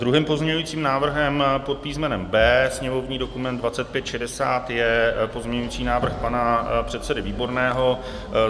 Druhým pozměňovacím návrhem pod písmenem B, sněmovní dokument 2560, je pozměňovací návrh pana předsedy Výborného.